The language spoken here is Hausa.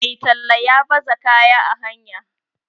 Mai tallan ya baza kaya a hanya